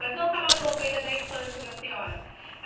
Mas vamos falar um pouco ainda da infância da senhora.